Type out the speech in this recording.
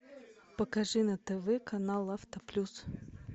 покажи на тв канал авто плюс